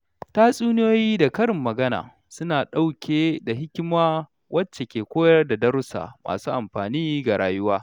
Tatsuniyoyi da karin magana suna ɗauke da hikima wacce ke koyar da darussa masu amfani ga rayuwa.